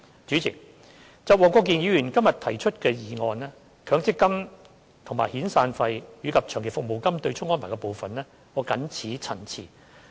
主席，就黃國健議員今天所提出的議案中，強積金與遣散費及長期服務金對沖安排的部分，我謹此陳辭。